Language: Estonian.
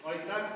Aitäh!